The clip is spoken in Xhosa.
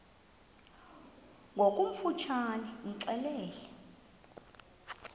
ngokofu tshane imxelele